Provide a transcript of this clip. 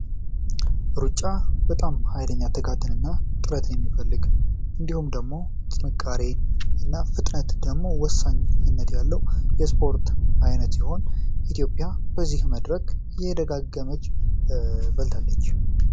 እሩጫ በጣም ሀይለኛ ትጋትን እና ጥረት የሚፈልግ እንዲሁም ደግሞ ጥንካሬ እና ፍጥነት ደግሞ ወሳኝነት ያለዉ የሰፖርት አይነት ሲሆን ኢትዮጵያ በዚህ መድረክ እየደጋገመች በልታለች።